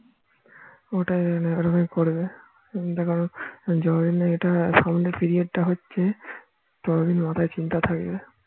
ওটাই ওরকম করবে দেখা গেল যত দিন না এটা সামনে period টা হচ্ছে মাথায় চিন্তা থাকবে